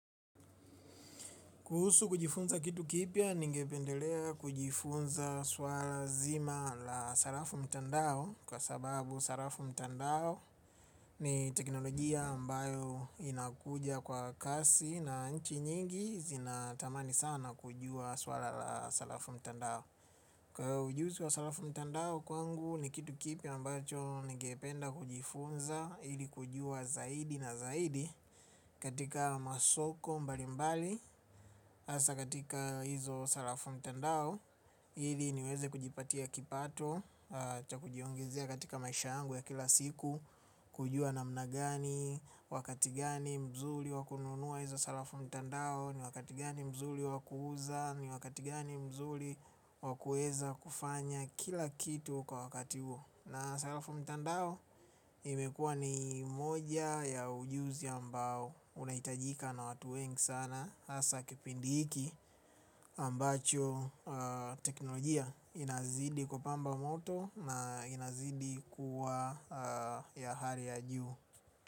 Kuhusu kujifunza kitu kipya, ningependelea kujifunza swala zima la salafu mtandao. Kwa sababu salafu mtandao ni teknolojia ambayo inakuja kwa kasi na nchi nyingi zinatamani sana kujua swala la salafu mtandao. Kwa hiyo ujuzi wa salafu mtandao kwangu ni kitu kipya ambacho ningependa kujifunza ili kujua zaidi na zaidi. Katika masoko mbali mbali hasa katika hizo salafu mtandao, hili niweze kujipatia kipato cha kujiongezea katika maisha yangu ya kila siku. Kujua namnagani, wakati gani mzuli wa kununua izo salafu mtandao, ni wakati gani mzuli wa kuuza, ni wakati gani mzuli wa kuweza kufanya kila kitu kwa wakati huo. Na salafu mtandao, imekua ni moja ya ujuzi ambao unaitajika na watu wengi sana, hasa kipindi hiki ambacho teknolojia inazidi kupamba moto na inazidi kuwa ya hali ya juu.